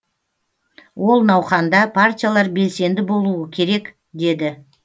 ол науқанда партиялар белсенді болуы керек деді